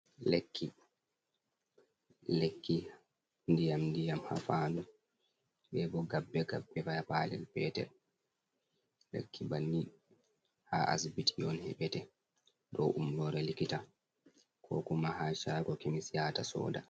Lekki. Lekki ndiyam-ndiyam haa fandu be bo gabbe-gabbe ba haa paalel petel. Lekki banni haa asibiti on heɓete, ɗo umrore likita, ko kuma haa shaago kemis yahata soda.